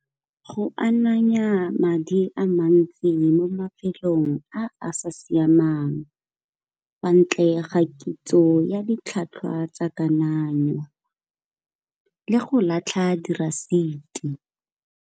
Go ananya madi a mantsi mo mafelong a a sa siamang kwa ntle ga kitso ya ditlhwatlhwa tsa kananyo le go latlha dirasiti.